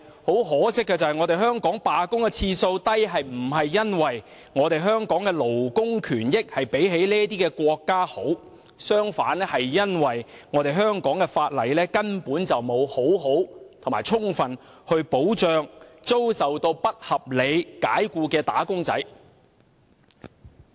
可惜的是，香港的罷工次數低並非因為我們的勞工權益較這些國家好；相反，這是因為香港法例根本沒有妥善或充分保障遭不合理解僱的"打工仔"。